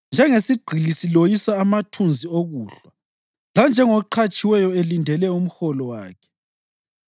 Njengesigqili siloyisa amathunzi okuhlwa, lanjengoqhatshiweyo elindele umholo wakhe,